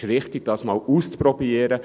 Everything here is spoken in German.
es ist richtig, das einmal auszuprobieren.